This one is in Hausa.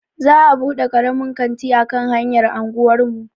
Za'a buɗe karamin kanti a kan hanyar anguwar mu.